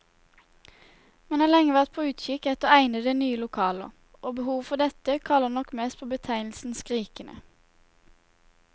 Man har lenge vært på utkikk etter egnede, nye lokaler, og behovet for dette kaller nok mest på betegnelsen skrikende.